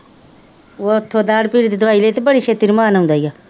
ਉੱਥੋ ਦਾੜ੍ਹ ਪੀੜ੍ਹ ਦੀ ਦਵਾਈ ਲਈ ਤੇ ਬੜੀ ਛੇਤੀ ਆਉਂਦਾ ਹੀ ਹੈ